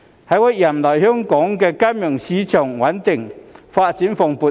在我任內，香港金融市場穩定，發展蓬勃。